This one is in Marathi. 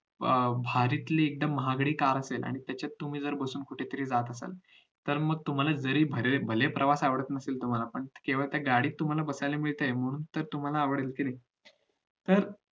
अं भारीतली एकदम महागडी कार असेल आणि आणि त्याच्यात बसून तुम्ही कुठे जात असाल तर मग तुम्हाला जरी भले प्रवास आवडत नसेल तुम्हाला केवळ त्या गाडीत बसायला मिळतंय म्हणून तुम्हाला ते आवडलं असेल तर